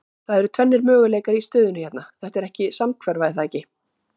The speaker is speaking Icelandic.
Það eru tvennir möguleikar í stöðunni hérna, þetta er samhverfa er það ekki?